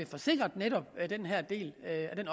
får sikret at den her del